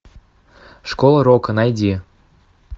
школа рока найди